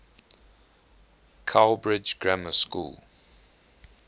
cowbridge grammar school